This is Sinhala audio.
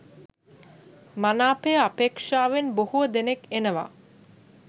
මනාපය අපේක්ෂාවෙන් බොහෝ දෙනෙක් එනවා